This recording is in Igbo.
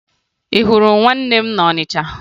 Ị hụrụ nwanne m na Ọnịcha?